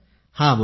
हा बोला